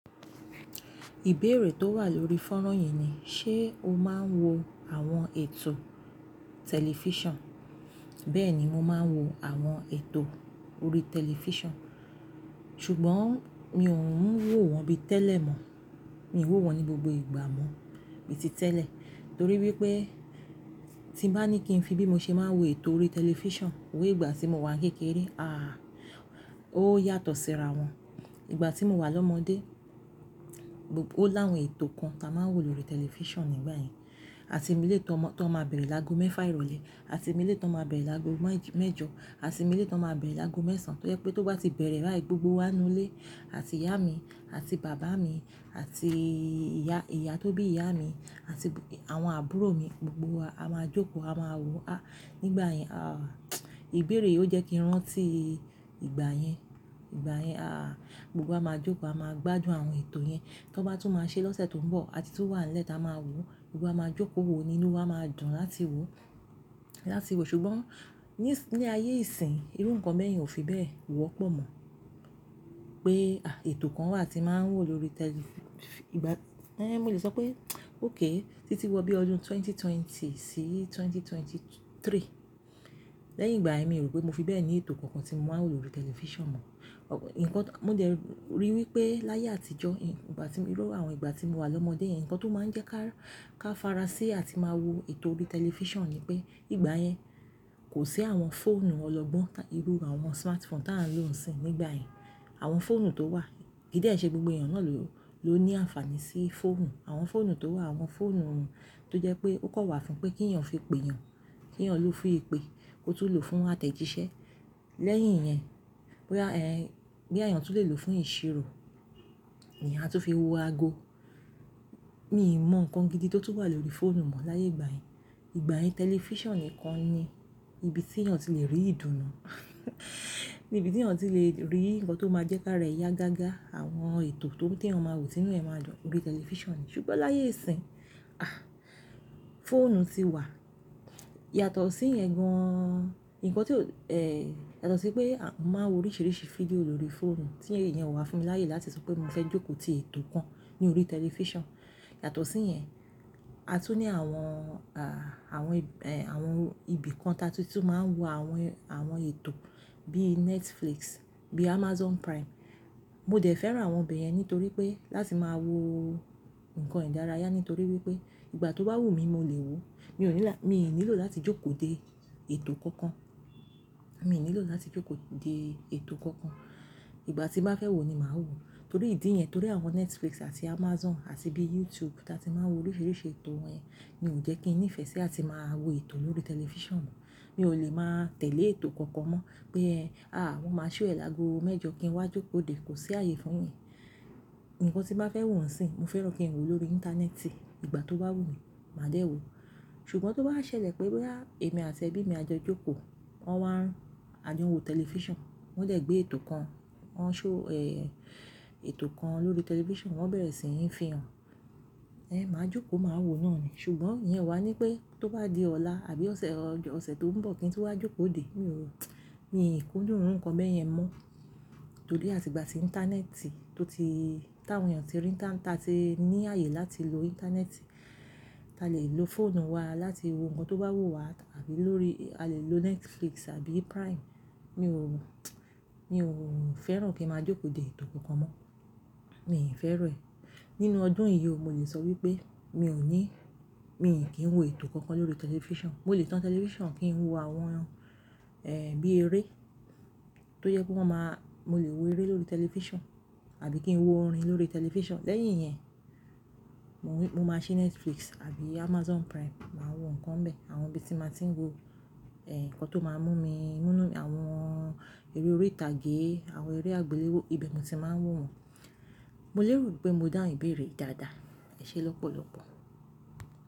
Ìbéèrè tó wà lórí fónrán yẹn ni, ṣe o máa ń wo àwọn ètò tẹlifíṣàn? Bẹ́ẹ̀ni, mo máa ń wo àwọn ètò orí tẹlifíṣàn, ṣùgbọ́n mi ò ń wò wọ́n bí tẹ́lẹ̀ mọ́. Mi ò wò wọ́n ní gbogbo ìgbà mọ́ bíi ti tẹ́lẹ̀, torí wípé tí bá ní kí ń fi bí mo ṣe máa ń wo ètò orí tẹlifíṣàn wẹ ìgbà tí mo wà kékeré, àh! Ó yàtọ̀ síra wọn. Ìgbà tí mo wà lọ́mọdé, ó láwọn ètò kan tí a máa ń wò lórí tẹlifíṣàn nígbà yẹn. Àti mọ eléyìí tó máa bẹ̀rẹ̀ lágo mẹ́fà ìrọ̀lẹ́, àti mọ eléyìí tó máa bẹ̀rẹ̀ lágo mẹ́jọ, àti mọ eléyìí tó máa bẹ̀rẹ̀ lágo mẹ́sàn. Torí pé tó bá ti bẹ̀rẹ̀ báyìí, gbogbo wa nínú ilé àti ìyá mi, àti bàbá mi, àti ìyá tó bí ìyá mi, àti àwọn àbúrò mi, gbogbo wa a máa jókòó, a máa wò. Àh! Nígbà yẹn, àh! Ìbéèrè yìí ó jẹ́ kí ń rántí ìgbà yẹn, ìgbà yẹn. Àh! Gbogbo wá máa jókòó, a máa gbádùn àwọn ètò yẹn. Tó bá tún máa ṣe lọ́sẹ̀ tó ń bọ̀, àti tún wà nílẹ̀, ta máa wò ó. Gbogbo wa máa jókòó wo, nínú wa máa dùn láti wo, láti wo. Ṣùgbọ́n ní ayé ìsìn, irú nǹkan bẹ̀yen ò fi bẹ́ẹ̀ wọ́pọ̀ mọ́ pé, àh! Ètò kan wà tí màá ń wò lórí tẹli, ìgbà ẹ́, mo lè sọ pé óké, títí wọ́ bí ọdún ẹgbẹ̀rún méjì ó lé ogún sí ẹgbẹ̀rún méjì ó lé ẹ́tàlélógún, lẹ́yìn ìgbà yẹ́n, mi ò ro pé mọ fi bẹ́ẹ̀ ní ètò kánkan tí mo máa ń wò lórí tẹlifíṣàn mọ́. Nkan, mo dẹ̀ rí wípé láyé àtijọ́, ìgbà tí mọ irú àwọn ìgbà tí mo wà lọ́mọdé yẹn, ǹkan tó máa ń jẹ́ ká farasi àti máa wo ètò orí tẹlifíṣàn ni pé ìgbà yẹn kò sí àwọn fóònù ọlọ́gbọ́n tàbí irú àwọn smartphone tí à ń lò ń sìn nígbà yẹn. Àwọn fóònù tó wà, kí dé ṣé gbogbo èèyàn náà ló ní àǹfààní sí fóònù. Àwọn fóònù tó wà, àwọn fóònù tó jẹ́ pé ó kò wà fún pé kí èèyàn fi pè èèyàn, kí èèyàn lò fún ìpè, kó tún lò fún àtẹ̀jíṣẹ́. Lẹ́yìn yẹn, bóyá ẹ́, bóyá èèyàn tún lè lò fún ìṣirò, èèyàn a tu fi wọ àgọ. Mi ò mọ ǹkan gidi tó tún wà lórí fóònù mọ́ láyé ìgbà yẹn. Ìgbà yẹn tẹlifíṣàn nìkan ni ibi tí èèyàn tí le rí ìdùnnú, ní ibi tí èèyàn tí le rí ǹkan tó máa jẹ́ ká rẹ ya gága. Àwọn ètò tó ri tẹ èèyàn máa wò, tinú ẹ máa dùn lórí tẹlifíṣàn. Ṣùgbọ́n láyé ìsìn, àh! Fóònù ti wà. Yàtọ̀ sí ìyẹn gan-an, ǹkan tí ó, ẹ́, yàtọ̀ sí pé a máa ń wo oríṣìíríṣìí fídíò lórí fóònù tí iyẹn o wà fún mi láyé láti sọ pé mo fẹ́ jókòó ti ètò kàn ní orí tẹlifíṣàn. Yàtọ̀ sí yẹn, a tún ní àwọn, àh! Àwọn, ẹ́, àwọn ibi kàn ta tún ti máa ń wo àwọn, àwọn ètò bíi Netflix, bíi Amazon Prime. Mo dẹ̀ fẹ́ràn àwọn ibẹ̀ yẹn nítorí pé láti máa wo nnkan ìdárayá nítorí wípé ìgbà tó bá wùmí mọ lè wò. Mi ò, mi ò nílò láti jókòó de ètò kankan. Mi ò nílò láti jókòó de ètò kankan. Ìgbà tí bàá fẹ́ wò ni màá wò. Torí ìdí yẹn, torí àwọn Netflix àti Amazon àti bíi YouTube tí a ti máa ń wò oríṣìíríṣìí ètò yẹ́n, ni ò jẹ́ kí ń nífẹ̀ẹ́ sí àti máa wo ètò lórí tẹlifíṣàn mọ́. Mi ò lè máa tẹ̀lé ètò kánkan mọ́ pé è, àh! Wọ́n máa ṣọ́ ẹ lágo mẹ́jọ kí n wá jókòó dé, kò sí ààyè fún yẹn. Inkan tí bàá fẹ́ wò sìn, mo fẹ́ràn kí n wò lórí íńtánẹ́ẹ̀tì, ìgbà tó bá wùmí, màá dé wò ó. Ṣùgbọ́n tó bá wà ṣẹlẹ̀ pé bóyá, èmi àti ẹbí mi a jọ jókòó, wọ́n wá, a jọ wo tẹlifíṣàn, wọ́n dé gbé ètò kan, wọ́n ṣọ́, ẹ́, ètò kan lórí tẹlifíṣàn, wọ́n bẹ̀rẹ̀ sí n fi hàn. Ẹ́n, màá jókòó, màá wò náà ni. Ṣùgbọ́n ìyẹn ọ wà ní pé tó bá di ọ̀la àbí ọ̀sẹ̀ tó ń bọ̀ kí n tún wá jókòó dé, mi ò, mi kudúń irù ǹkan bẹ́yẹn mọ́. Torí àti ìgbà tí íńtánẹ́ẹ̀tì tó ti, táwọn èèyàn ti rí ta ti ní ààyè láti lọ íńtánẹ́ẹ̀tì, ta lè lọ fóònù wa láti wò ǹkan tó bá wù wá àbí lórí a lè lo Netflix àbí Prime. Mi ò, mi ò fẹ́ràn kí n máa jókòó de ètò kánkan mọ́. Mi i fẹ́ràn ẹ́. Nínú ọdún yìí o, mo lè sọ wípé mi ò ní, mi kí ń wo ètò kánkan lórí tẹlifíṣàn. Mo lè tán tẹlifíṣàn kí ń wo àwọn, ẹ́, bíi èré tó jẹ́ pé wọ́n máa, mo lè wo eré lórí tẹlifíṣàn àbí kí ń wo orin lórí tẹlifíṣàn. Lẹ́yìn yẹn, mọ máa ṣí Netflix àbí Amazon Prime, màá wo ǹkan bẹ́ẹ̀, àwọn bíi tí màá ti ń wo, ẹ́, ǹkan tó máa mú mi múnú, àwọn eré orí ìtàgé, àwọn eré àgbéléwò, ibẹ̀ ni mo ti máa ń wò wọn. Mọ lè rò pé mọ dáhùn ìbéèrè yìí dáadáa Ẹ ṣé lọ́pọ̀lọ́pọ̀.